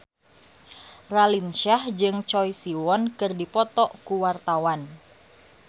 Raline Shah jeung Choi Siwon keur dipoto ku wartawan